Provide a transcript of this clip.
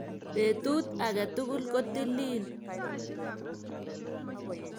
Betut aketukul kotililil